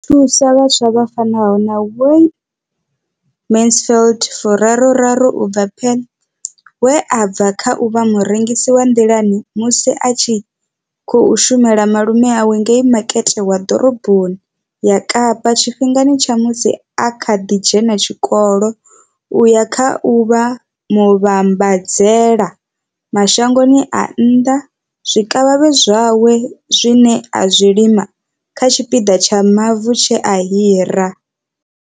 Yo thusa vhaswa vha fanaho na Wayne Mansfield furaru raru u bva Paarl, we a bva kha u vha murengisi wa nḓilani musi a tshi khou shumela malume awe ngei makete wa ḓoroboni ya Kapa tshifhingani tsha musi a kha ḓi dzhena tshikolo u ya kha u vha muvhambadzela mashango a nnḓa zwikavhavhe zwawe zwine a zwi lima kha tshipiḓa tsha mavu tshe a hira.